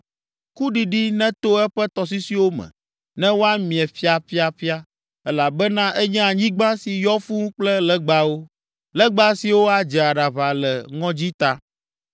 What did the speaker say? Kuɖiɖi neto eƒe tɔsisiwo me, ne woamie ƒiaƒiaƒia, elabena enye anyigba si yɔ fũu kple legbawo, legba siwo adze aɖaʋa le ŋɔdzi ta.”